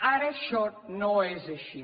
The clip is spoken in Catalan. ara això no és així